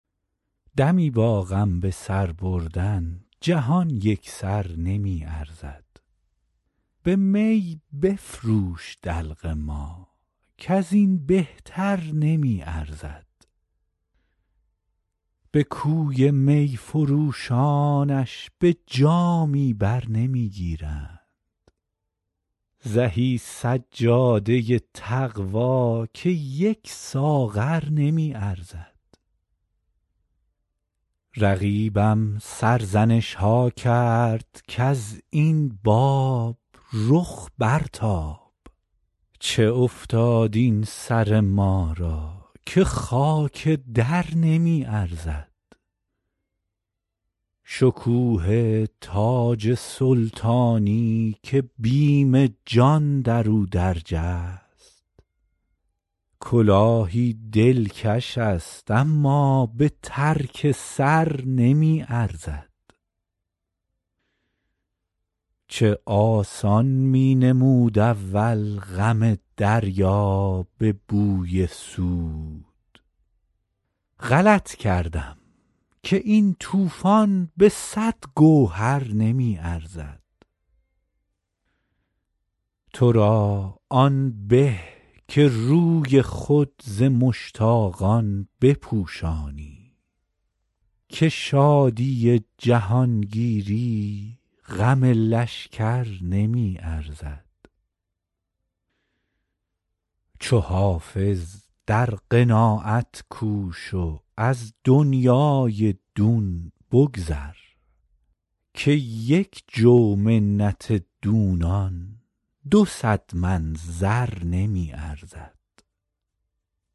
دمی با غم به سر بردن جهان یک سر نمی ارزد به می بفروش دلق ما کز این بهتر نمی ارزد به کوی می فروشانش به جامی بر نمی گیرند زهی سجاده تقوا که یک ساغر نمی ارزد رقیبم سرزنش ها کرد کز این باب رخ برتاب چه افتاد این سر ما را که خاک در نمی ارزد شکوه تاج سلطانی که بیم جان در او درج است کلاهی دلکش است اما به ترک سر نمی ارزد چه آسان می نمود اول غم دریا به بوی سود غلط کردم که این طوفان به صد گوهر نمی ارزد تو را آن به که روی خود ز مشتاقان بپوشانی که شادی جهانگیری غم لشکر نمی ارزد چو حافظ در قناعت کوش و از دنیای دون بگذر که یک جو منت دونان دو صد من زر نمی ارزد